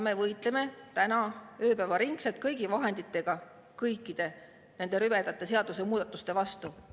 Me võitleme täna ööpäevaringselt kõigi vahenditega kõikide nende rüvedate seadusemuudatuste vastu.